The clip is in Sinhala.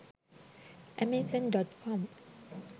amazon.com